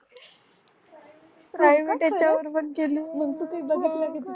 private